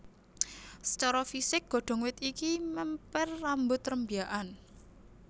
Sacara fisik godhong wit iki mèmper rambut rembyakan